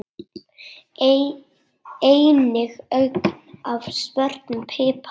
Einnig ögn af svörtum pipar.